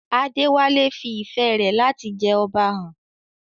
Adewale fi ìfẹ́ rẹ̀ láti jẹ Ọba hàn.